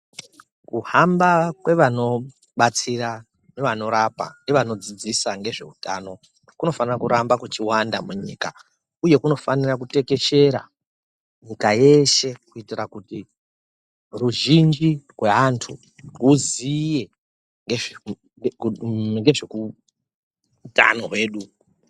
Kuhamba kwevanobatsira nevanorapa nevanodzidzisa nezveutano kunofanira kuramba kuchiwanda munyika uye kunofanira kutekeshera nyika yeshe ruzhinji rweantu rwuziye ngezveku uuu ngezvekutano hwedu.